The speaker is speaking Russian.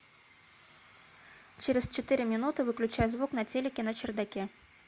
через четыре минуты выключай звук на телике на чердаке